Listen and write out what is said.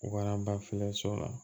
Waraba la